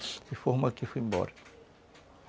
De forma que eu fui embora.